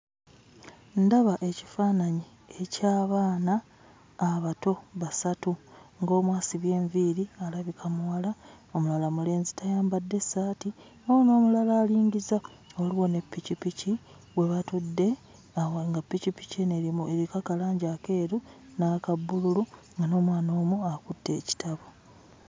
Ndaba ekifaananyi eky'abaana abato basatu, ng'omu asibye enviiri alabika muwala, omulala mulenzi tayambadde ssaati, waliwo n'omulala alingiza; waliwo ne pikipiki we batudde, nga pikipiki eno eriko akalangi akeeru n'aka bbululu nga n'omwana omu akutte ekitabo.